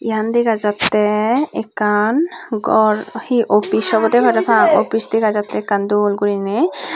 iyan dega jattey ekkan gor hi opis obodey parapang opis dega jattey ekkan dol guriney.